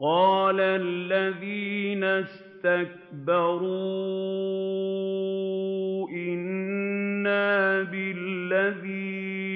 قَالَ الَّذِينَ اسْتَكْبَرُوا إِنَّا بِالَّذِي